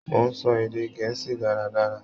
Mo n sọ èdè gẹ̀ẹ́sì dáradára.